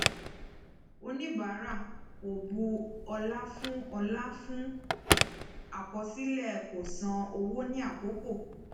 oníbàárà kò bu ọla fún ọla fún akọsilẹ kò san owó ní àkókò